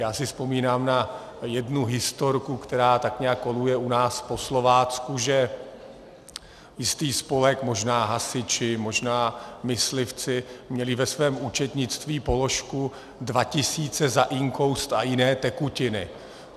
Já si vzpomínám na jednu historku, která tak nějak koluje u nás po Slovácku, že jistý spolek, možná hasiči, možná myslivci, měli ve svém účetnictví položku dva tisíce za inkoust a jiné tekutiny.